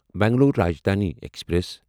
Bangalore Rajdhani express